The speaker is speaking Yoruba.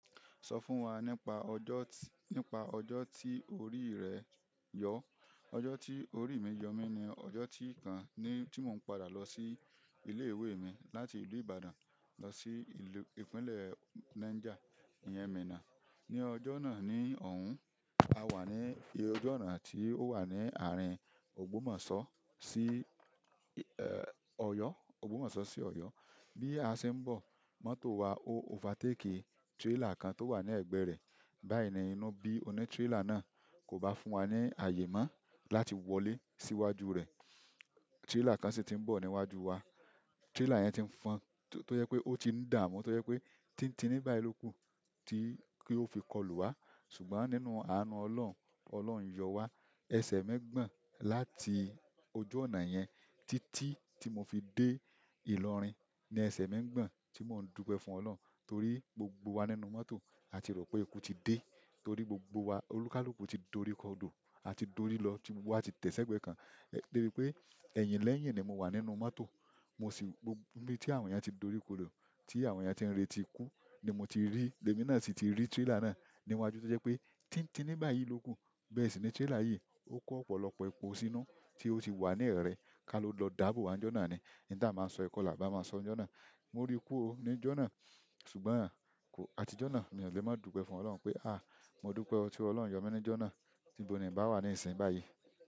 Sọ fún wa nípa ọjọ́, nípa ọjọ́ tí orí rẹ yọ. Ọjọ́ tí orí mi yọ mí ni ọjọ́ tí kan ni tí mò ń padà lọ sí ilé ìwé mi láti ìlú Ìbàdàn lọ sí ìlú ìpínlẹ̀ Niger, ìyẹn Minna. Ni ọjọ́ náà ní ọ̀hún, a wà ní ọjọ́ náà tí ó wà ní àárín Ògbómọ̀sọ́ sí, ẹ́, Ọ̀yọ́, Ògbómọ̀sọ́ sí Ọ̀yọ́. Bí a ṣe ń bọ̀, mọ́tò wa ó overtake trailer kan tó wà ní ẹ̀gbẹ́ rẹ̀. Báyìí ìnà inú bí oní trailer náà kò bá fún wa ní àyè mọ́ láti wọlé sí iwájú rẹ̀. Trailer kan sì ti ń bọ̀ ní iwájú wa. Trailer yẹn ti ń fọn, tó yẹ pé ó ti ń dààmú, tó yẹ pé tíntiní báyìí ló kù tí kí ó fi kọlù wá. Ṣùgbọ́n nínú àánú Ọlọ́run, Ọlọ́run yọ wá. Ẹsẹ̀ mi gbọ̀n láti ojú ọ̀nà yẹn títí tí mo fi dé ìlọrin ni ẹsẹ̀ mi gbọ̀n tí mò ń dúpẹ́ fún Ọlọ́run torí gbogbo wa nínú mọ́tò, a ti rò pé ikú ti dé torí gbogbo wa olúkalúkù ti dorí kọdò, a ti dorí lọ, gbogbo wa ti tẹ̀ ṣẹ́gbẹ̀ẹ́ kan. Débi pé ẹ̀yìn lẹ́yìn ni mo wà nínú mọ́tò. Mo sì ń gbọ̀n ibi tí àwọn ènìyàn ti dorí kodò tí àwọn ènìyàn tí n retí ikú ni mo ti rí, lèmi náà sì ti rí trailer náà níwájú to ṣe pé tíntiní báyìí ló sẹ kù. Bẹ́ẹ̀ sì ni trailer yìí ó kó ọ̀pọ̀lọpọ̀ epo sínú tí ó sì wà ní ẹ̀rẹ̀ ká lọ dáàbò wá níjọ́ náà ni. In ta a máa sọ yìí kọ́ laàbá máa sọ níjọ́ náà. Mo rí kú ó níjọ́ náà ṣùgbọ́n a ti jọ́ náà, mi ò lè má dúpẹ́ fún Ọlọ́run pé à mo dúpẹ́ ọ́ tí Ọlọ́run yọ mí níjọ́ náà. Ibo ni ǹ bá wà ní ìsìn báyìí.